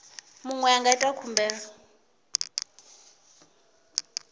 muṅwe a nga ita khumbelo